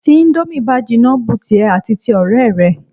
Tí íńdómì bá jinná bu tìẹ àti ti ọ̀rẹ́ rẹ.